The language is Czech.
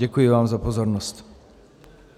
Děkuji vám za pozornost.